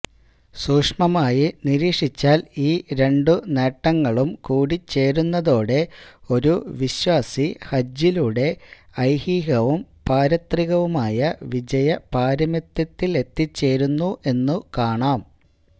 സൂക്ഷ്മമായി നിരീക്ഷിച്ചാല് ഈ രണ്ടു നേട്ടങ്ങളും കൂടിച്ചേരുന്നതോടെ ഒരു വിശ്വാസി ഹജ്ജിലൂടെ ഐഹികവും പാരത്രികവുമായ വിജയ പാരമ്യത്തിലെത്തിച്ചേരുന്നു എന്നുകാണാം